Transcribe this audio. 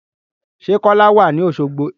Sẹ́ Kọ́lá wà ní Oṣogbo?